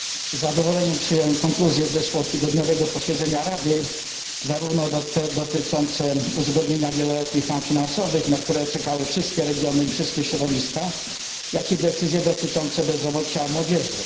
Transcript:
Z zadowoleniem przyjąłem konkluzje z zeszłotygodniowego posiedzenia Rady, zarówno te dotyczące uzgodnienia wieloletnich ram finansowych, na które czekały wszystkie regiony i wszystkie środowiska, jak i decyzje dotyczące bezrobocia młodzieży.